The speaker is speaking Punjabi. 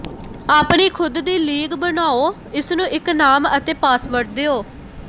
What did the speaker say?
ਆਪਣੀ ਖੁਦ ਦੀ ਲੀਗ ਬਣਾਓ ਇਸਨੂੰ ਇੱਕ ਨਾਮ ਅਤੇ ਪਾਸਵਰਡ ਦਿਓ